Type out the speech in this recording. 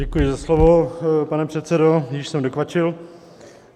Děkuji za slovo, pane předsedo, již jsem dokvačil.